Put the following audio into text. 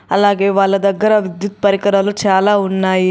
అలాగే వాళ్ళ దగ్గర విద్యుత్ పరికరాలు చాలా ఉన్నాయి.